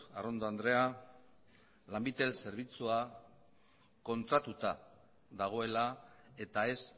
arrondo andrea lanbitel zerbitzua kontratatuta dagoela eta ez